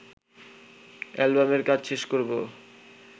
অ্যালবামের কাজ শেষ করব